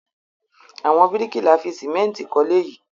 Àwọn bíríkìlà fi sìmẹ́ńtì kọ́lé yìí?